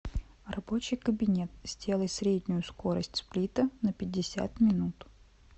рабочий кабинет сделай среднюю скорость сплита на пятьдесят минут